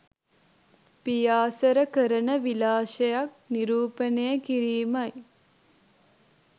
පියාසර කරන විලාසයක් නිරූපණය කිරීමයි.